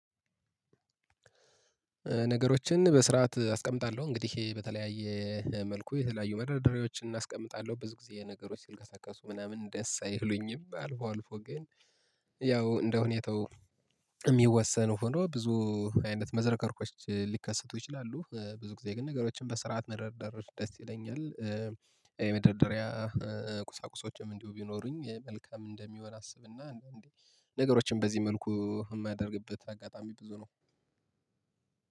ነገሮችን በስርዓት አስቀምጣለሁ። እንግዲህ በተለያየ መልኩ የተለያዩ መደርደርያዎችን እና አስቀምጣለሁ። ብዙ ጊዜ ነገሮች ሲልቀሳቀሱ ምናምን ደስ አይሉኝም። አልፎ አልፎ ግን ያው እንደሁኔታው የሚወሰን ሆኖ ብዙ አይነት መዝረክረኮች ሊከሰቱ ይችላሉ። ብዙ ጊዜ ግን ነገሮችን በስርዓት መደርደር ደስ ይለኛል። የመደርደሪያ ቁሳቁሶችም እንዲሁ ቢኖሩኝ መልካም እንደሚሆን አስብና አንዳንዴ ነገሮችን በዚህ መልኩ የማያደርግበት አጋጣሚ ብዙ ነው።